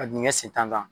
A dingɛ sen tan na